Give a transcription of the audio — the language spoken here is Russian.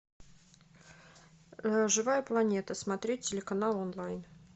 живая планета смотреть телеканал онлайн